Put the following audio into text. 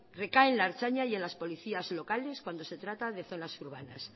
recaen en la ertzaintza y las policías locales cuando se trata de zonas urbanas